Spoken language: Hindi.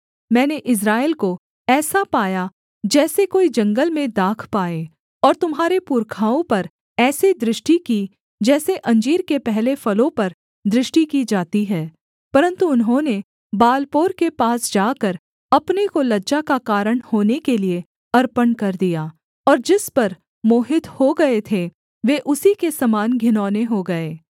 मैंने इस्राएल को ऐसा पाया जैसे कोई जंगल में दाख पाए और तुम्हारे पुरखाओं पर ऐसे दृष्टि की जैसे अंजीर के पहले फलों पर दृष्टि की जाती है परन्तु उन्होंने बालपोर के पास जाकर अपने को लज्जा का कारण होने के लिये अर्पण कर दिया और जिस पर मोहित हो गए थे वे उसी के समान घिनौने हो गए